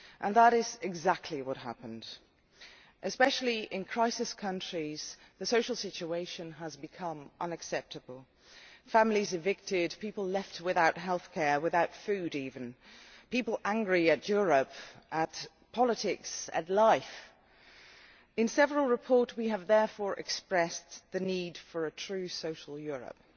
That is exactly what happened and, in crisis countries especially, the social situation has become unacceptable families have been evicted, people have been left without healthcare without food even and people are angry at Europe, at politics and at life. In several reports we have therefore expressed the need for a true social Europe,